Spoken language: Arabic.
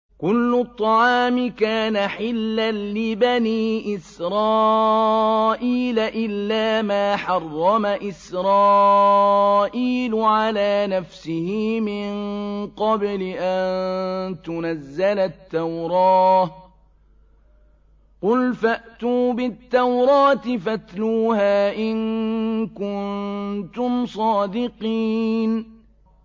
۞ كُلُّ الطَّعَامِ كَانَ حِلًّا لِّبَنِي إِسْرَائِيلَ إِلَّا مَا حَرَّمَ إِسْرَائِيلُ عَلَىٰ نَفْسِهِ مِن قَبْلِ أَن تُنَزَّلَ التَّوْرَاةُ ۗ قُلْ فَأْتُوا بِالتَّوْرَاةِ فَاتْلُوهَا إِن كُنتُمْ صَادِقِينَ